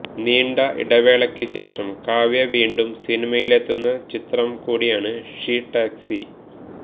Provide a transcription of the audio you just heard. നീണ്ട ഇടവേശയ്ക്കുശേഷം കാവ്യ വീണ്ടും സിനിമയിലെത്തുന്ന ചിത്രം കൂടിയാണ് ഷീ ടാക്സി